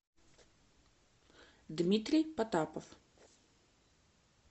дмитрий потапов